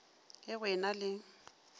ge go e na le